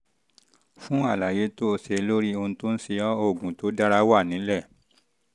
fún àlàyé tó àlàyé tó o ṣe lórí ohun tó ń ṣe ọ́ oògùn tó dára wà nílẹ̀